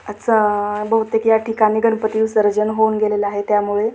बहुतेक याठिकाणी गणपती विसर्जन होऊन गेलेलं आहे त्यामुळे--